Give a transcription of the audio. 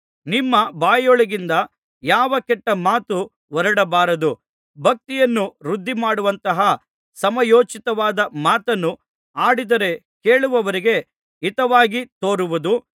ನಿಮ್ಮ ಬಾಯೊಳಗಿಂದ ಯಾವ ಕೆಟ್ಟ ಮಾತು ಹೊರಡಬಾರದು ಭಕ್ತಿಯನ್ನು ವೃದ್ಧಿ ಮಾಡುವಂತಹ ಸಮಯೋಚಿತವಾದ ಮಾತನ್ನು ಆಡಿದರೆ ಕೇಳುವವರಿಗೆ ಹಿತವಾಗಿ ತೋರುವುದು